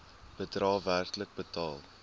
bedrae werklik betaal